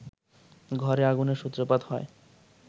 ঘরে আগুনের সূত্রপাত হয়